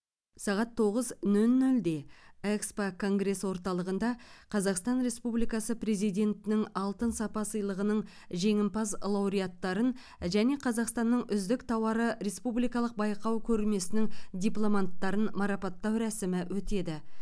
сағат тоғыз нөл нөлде экспо конгресс орталығында қазақстан республикасы президентінің алтын сапа сыйлығының жеңімпаз лауреаттарын және қазақстанның үздік тауары республикалық байқау көрмесінің дипломанттарын марапаттау рәсімі өтеді